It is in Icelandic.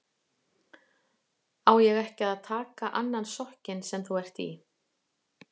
Á ég ekki að taka annan sokkinn sem þú ert í?